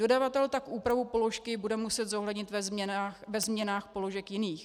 Dodavatel tak úpravu položky bude muset zohlednit ve změnách položek jiných.